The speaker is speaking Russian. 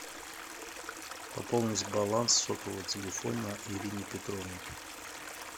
пополнить баланс сотового телефона ирине петровне